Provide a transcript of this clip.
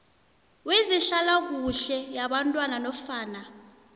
wezehlalakuhle yabantwana nofana